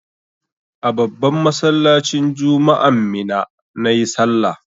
A babban masallacin juma'an Minna na yi sallah.